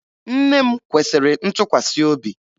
Nne m kwesịrị ntụkwasị obi.